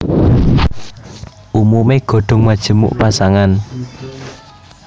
Umumé godhong majemuk pasangan